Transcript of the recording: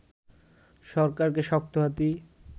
সরকারকে শক্ত হাতেই